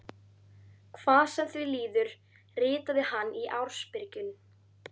Hvað sem því líður, ritaði hann í ársbyrjun